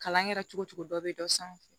Kalan kɛra cogo o cogo dɔ bɛ dɔ sanfɛ